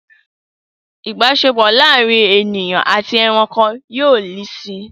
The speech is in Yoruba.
Ìbáṣepọ̀ láàárín ènìyàn àti ẹranko yóò le si